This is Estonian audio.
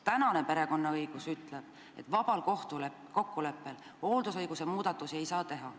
Tänane perekonnaõigus ütleb, et vabal kokkuleppel hooldusõiguse muudatusi ei saa teha.